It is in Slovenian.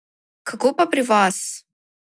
Kako pa pri vas?